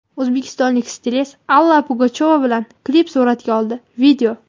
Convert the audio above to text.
O‘zbekistonlik stilist Alla Pugachyova bilan klip suratga oldi.